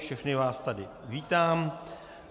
Všechny vás tady vítám.